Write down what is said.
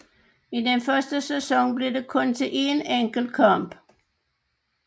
I den første sæson blev det kun til én enkelt kamp